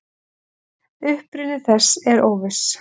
Uppruni þess er óviss.